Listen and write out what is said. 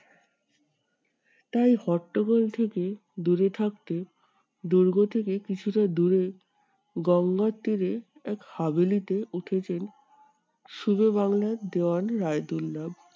তাই হট্টগোল থেকে দূরে থাকতে, দুর্গ থেকে কিছুটা দূরে গঙ্গার তীরে এক উঠেছেন সুবে বাংলার দেওয়ান রায়দুল্লা।